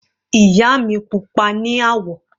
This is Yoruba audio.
Ìyá mi pupa ní àwọ̀.